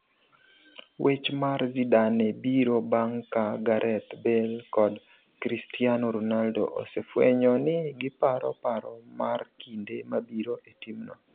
Wech mar Zidane biro bang' ka Gareth Bale kod Christiano Ronaldo osefwenyo ni giparo paro mar kinde mabiro e timno.